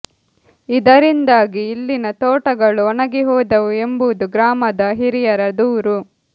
ಇದರಿಂದಾಗಿ ಇಲ್ಲಿನ ತೋಟಗಳು ಒಣಗಿ ಹೋದವು ಎಂಬುದು ಗ್ರಾಮದ ಹಿರಿಯರ ದೂರು